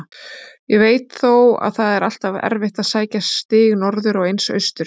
Ég veit þó að það er alltaf erfitt að sækja stig norður og eins austur.